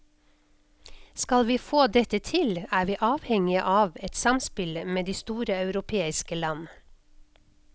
Skal vi få dette til, er vi avhengige av et samspill med de store europeiske land.